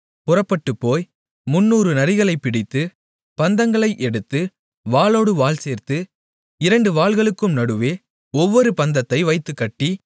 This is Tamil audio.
புறப்பட்டுப்போய் முந்நூறு நரிகளைப் பிடித்து பந்தங்களை எடுத்து வாலோடு வால் சேர்த்து இரண்டு வால்களுக்கும் நடுவே ஒவ்வொரு பந்தத்தை வைத்துக்கட்டி